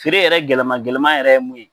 Feere yɛrɛ gɛlɛma gɛlɛman yɛrɛ ye mun ye